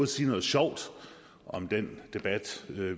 sige noget sjovt om den debat